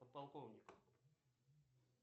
подполковник